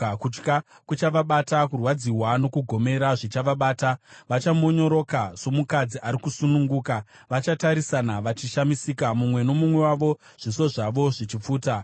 Kutya kuchavabata, kurwadziwa nokugomera zvichavabata, vachamonyoroka somukadzi ari kusununguka. Vachatarisana vachishamisika mumwe nomumwe wavo, zviso zvavo zvichipfuta.